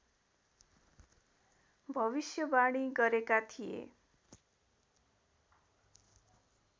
भविष्यवाणी गरेका थिए